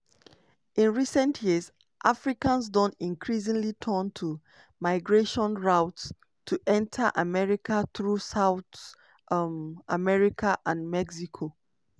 in recent years africans don increasingly turn to migration routes to enta america through south um america and mexico.